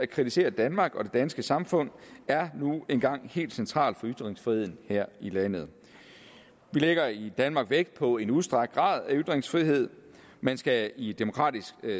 kritisere danmark og det danske samfund er nu engang helt centralt for ytringsfriheden her i landet vi lægger i danmark vægt på er en udstrakt grad af ytringsfrihed man skal i et demokratisk